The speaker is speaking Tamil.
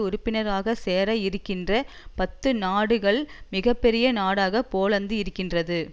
உறுப்பினர்களாக சேர இருக்கின்ற பத்து நாடுகள் மிக பெரிய நாடாக போலந்து இருக்கின்றது